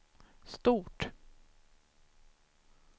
stort